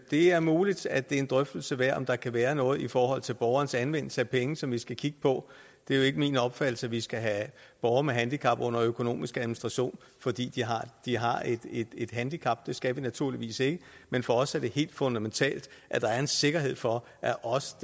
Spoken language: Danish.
det er muligt at det er en drøftelse værd om der kan være noget i forhold til borgerens anvendelse af penge som vi skal kigge på det er jo ikke min opfattelse at vi skal have borgere med handicap under økonomisk administration fordi de har et handicap det skal vi naturligvis ikke men for os er det helt fundamentalt at der er en sikkerhed for at også